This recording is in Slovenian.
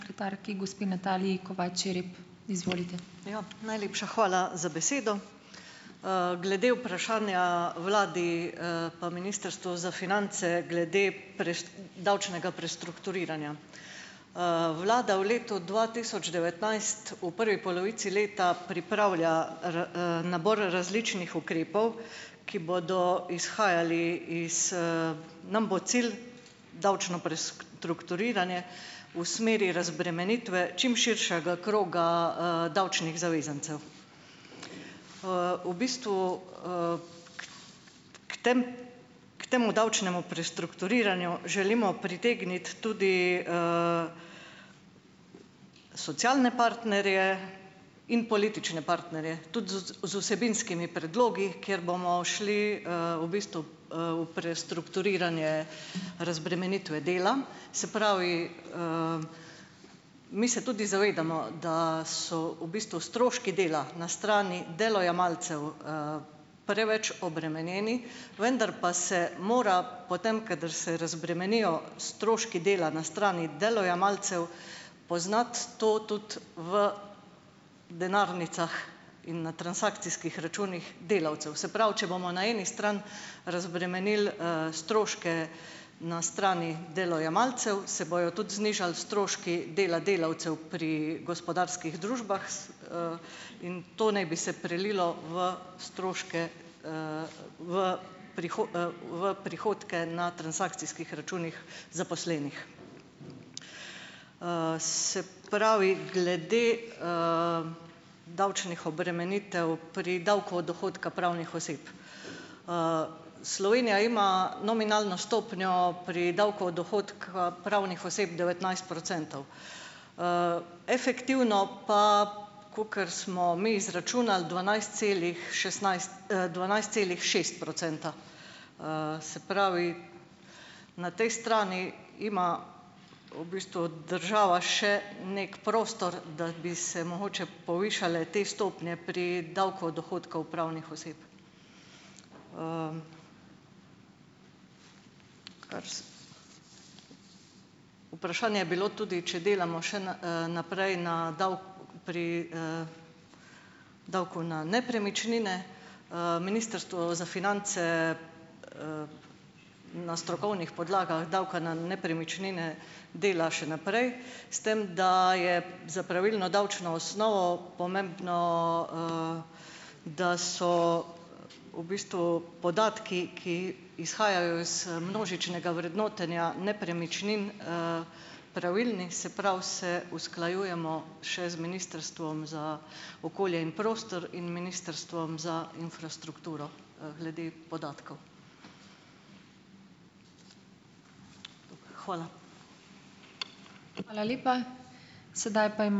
Ja, najlepša hvala za besedo. Glede vprašanja vladi, pa ministrstvu za finance glede davčnega prestrukturiranja. Vlada v letu dva tisoč devetnajst v prvi polovici leta pripravlja nabor različnih ukrepov, ki bodo izhajali iz, nam bo cilj davčno prestrukturiranje v smeri razbremenitve čim širšega kroga, davčnih zavezancev. V bistvu, k tem, k temu davčnemu prestrukturiranju želimo pritegniti tudi, socialne partnerje in politične partnerje, tudi zd, z vsebinskimi predlogi, ker bomo šli, v bistvu, v prestrukturiranje razbremenitve dela, se pravi, mi se tudi zavedamo, da, so v bistvu stroški dela na strani delojemalcev, preveč obremenjeni, vendar pa se mora potem, kadar se razbremenijo stroški dela na strani delojemalcev, poznati to tudi v denarnicah in na transakcijskih računih delavcev. Se pravi, če bomo na eni strani razbremenili, stroške na strani delojemalcev, se bojo tudi znižali stroški dela delavcev pri gospodarskih družbah, in to naj bi se prelilo v stroške, v v prihodke na transakcijskih računih zaposlenih. Se pravi, glede, davčnih obremenitev pri davku od dohodka pravnih oseb. Slovenija ima nominalno stopnjo pri davku od dohodka pravnih oseb devetnajst procentov, efektivno pa, kakor smo mi izračunali - dvanajst celih šestnajst, dvanajst celih šest procenta, se pravi, na tej strani ima v bistvu država še neki prostor, da bi se mogoče povišale te stopnje pri davku od dohodkov pravnih oseb. kar vprašanje je bilo tudi, če delamo še naprej na pri, davku na nepremičnine. Ministrstvo za finance, na strokovnih podlagah davka na nepremičnine, dela še naprej, s tem da je za pravilno davčno osnovo pomembno, da so v bistvu podatki, ki izhajajo iz množičnega vrednotenja nepremičnin, pravilni, se pravi, se usklajujemo še z Ministrstvom za okolje in prostor in Ministrstvom za infrastrukturo, glede podatkov. Hvala.